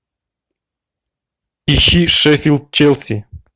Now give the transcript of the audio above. ищи шеффилд челси